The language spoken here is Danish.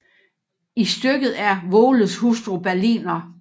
I stykket er Voles hustru Berliner